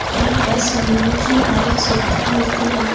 यहां बस मिलने की हर एक सुविधा मिलती है ।